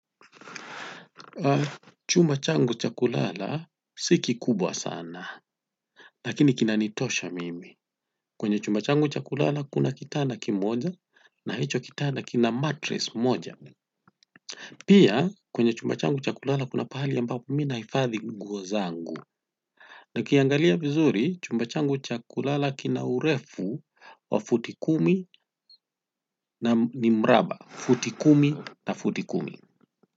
Chumba changu cha kulala sikikubwa sana lakini kina nitosha mimi. Kwenye chumba changu cha kulala kuna kitanda kimoja na hicho kitana kina matres moja. Pia kwenye chumba changu chakulala kuna pahali ambapo mina hifadhi nguo zangu na kiangalia vizuri chumba changu cha kulala kina urefu wa futi kumi na ni mraba futi kumi na futi kumi.